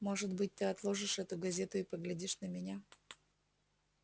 может быть ты отложишь эту газету и поглядишь на меня